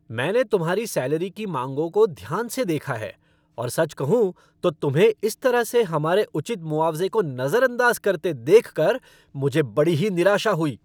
मैंने तुम्हारी सैलरी की माँगों को ध्यान से देखा है, और सच कहूँ तो, तुम्हें इस तरह से हमारे उचित मुआवज़े को नज़रअंदाज़ करते देखकर मुझे बड़ी ही निराशा हुई।